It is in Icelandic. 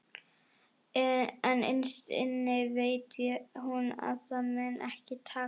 En innst inni veit hún að það mun ekki takast.